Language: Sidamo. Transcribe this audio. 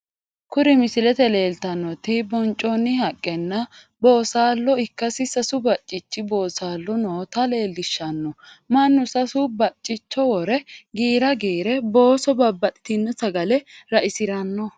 Kuri misilete leelitanoti bo'ncooni haqenna boosallo ikkassi sasu bacichi boosalo noota leelishanno, manu sase bacicho wore giira giire booso babaxitino sagale ra'isirano